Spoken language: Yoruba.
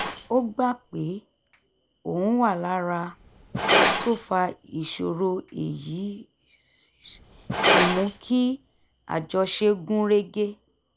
ó gbà pé òun wà lára tó fa ìṣòro èyí sì mú kí àjọṣe gún régé